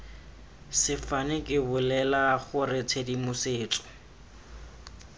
sefane ke bolela gore tshedimosetso